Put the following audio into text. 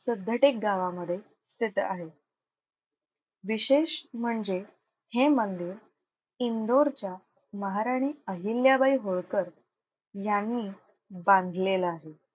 सिद्धटेक गावामध्ये स्थित आहे. विशेष म्हणजे हे मंदिर इंदोरच्या महाराणी अहिल्याबाई होळकर यांनी बांधलेला आहे.